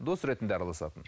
дос ретінде араласатын